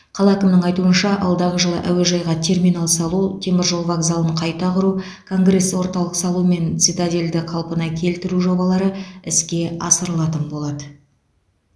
қала әкімінің айтуынша алдағы жылы әуежайға терминал салу темір жол вокзалын қайта құру конгресс орталық салу мен цитадельді қалпына келтіру жобалары іске асырылатын болады